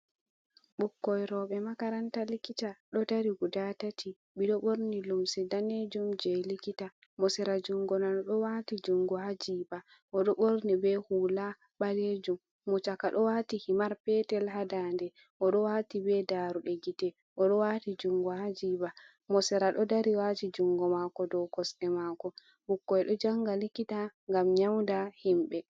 Ɓukkoi roɓɓe makaranta likita ɗo dari guda tati, ɓe ɗo ɓorni lumsi danejum je likita, mo sera jungo nano ɗo wati jungo ha jiɓa oɗo ɓorni be hula ɓalejum, mo caka ɗo wati himar petel ha dande o ɗo wati be daruɗe gite, o ɗo wati jungo ha jiɓa, mo sera ɗo dari wati jungo mako dou kosɗe mako, ɓukkoi ɗo janga likita ngam nyauda himɓɓe.